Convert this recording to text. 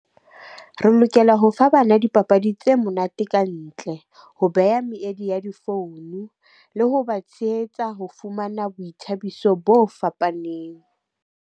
Re lokela ho fa bana dipapadi tse monate kantle, ho beha meedi ya di-phone le ho ba tshehetsa ho fumana boithabiso bo fapaneng.